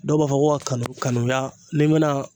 Dɔw b'a fɔ ko ka kanu kanuya ni me na